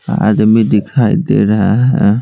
आदमी दिखाई दे रहा है।